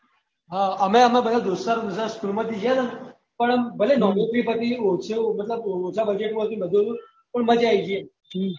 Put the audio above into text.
હા અમે અમે બધા દોસ્ત ના રૂમ માં school માં જયીસે પણ ભલે ઓછા budget માં હતું પણ મજા આયી ગયી એવું